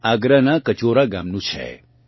માં આગરાનાં કચૌરા ગામનું છે